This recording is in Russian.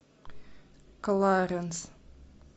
кларенс